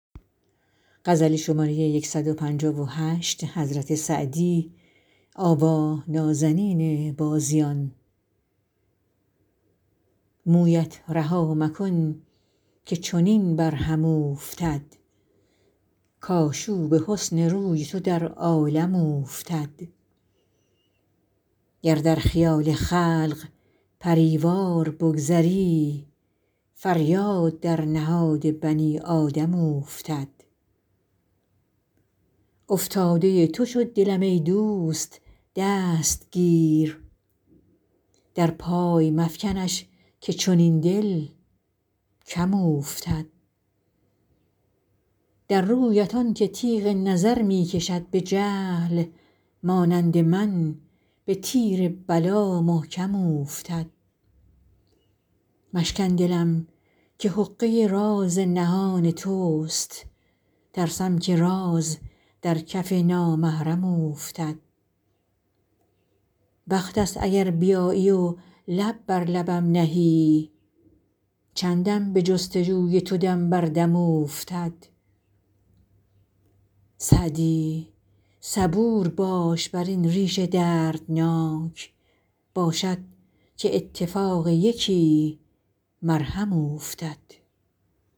مویت رها مکن که چنین بر هم اوفتد کآشوب حسن روی تو در عالم اوفتد گر در خیال خلق پری وار بگذری فریاد در نهاد بنی آدم اوفتد افتاده تو شد دلم ای دوست دست گیر در پای مفکنش که چنین دل کم اوفتد در رویت آن که تیغ نظر می کشد به جهل مانند من به تیر بلا محکم اوفتد مشکن دلم که حقه راز نهان توست ترسم که راز در کف نامحرم اوفتد وقت ست اگر بیایی و لب بر لبم نهی چندم به جست و جوی تو دم بر دم اوفتد سعدی صبور باش بر این ریش دردناک باشد که اتفاق یکی مرهم اوفتد